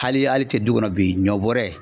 Hali hali i tɛ du kɔnɔ bi ɲɔ bɔɔrɛ